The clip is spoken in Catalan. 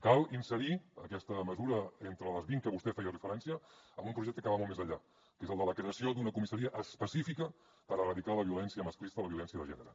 cal inserir aquesta mesura d’entre les vint a què vostè feia referència en un projecte que va molt més enllà que és el de la creació d’una comissaria específica per erradicar la violència masclista la violència de gènere